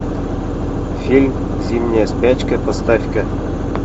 фильм зимняя спячка поставь ка